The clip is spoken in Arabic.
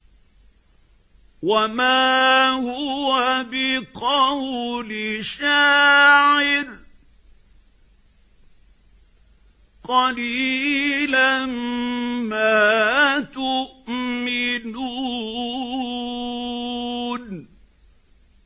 وَمَا هُوَ بِقَوْلِ شَاعِرٍ ۚ قَلِيلًا مَّا تُؤْمِنُونَ